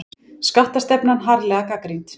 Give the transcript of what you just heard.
Skattastefnan harðlega gagnrýnd